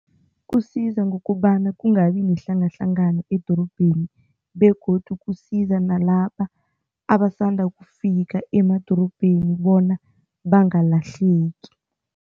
Kusiza ngokobana kungabi nehlangahlangano edorobheni begodu kusiza nalaba abasanda ukufika emadorobheni bona bangalahleki.